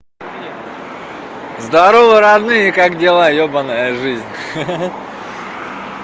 здорово родные как дела ёбаная жизнь ха-ха